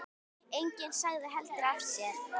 Enginn sagði heldur af sér.